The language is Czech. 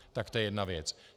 Tak to je jedna věc.